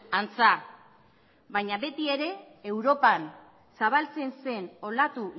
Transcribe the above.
antza baina beti ere europan zabaltzen zen olatu